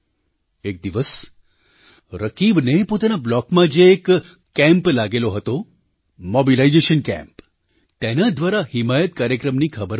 એક દિવસ રકીબને પોતાના બ્લૉકમાં જે એક કેમ્પ લાગેલો હતો મૉબિલાઇઝેશન કેમ્પ તેના દ્વારા હિમાયત કાર્યક્રમની ખબર પડી